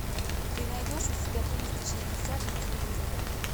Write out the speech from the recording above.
ты найдешь у себя триста шестьдесят на телевизоре